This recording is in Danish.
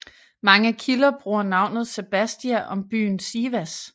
Mange kilder bruger navnet Sebastia om byen Sivas